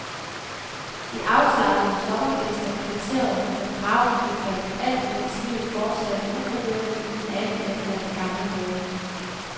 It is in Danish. De afslappede sommergæster kvitterede med bragende bifald, alt imens livet fortsatte upåvirket i den anden ende af den gamle have.